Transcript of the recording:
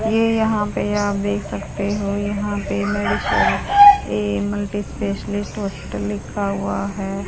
ये यहां पे देख सकते हो यहां पे मेडिसर ये मल्टीस्पेस्लिस्ट हॉस्पिटल लिखा हुआ है।